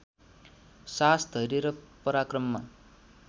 साहस धैर्य र पराक्रममा